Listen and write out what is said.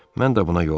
Mən də buna yol verdim.